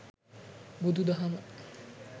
බුදු දහම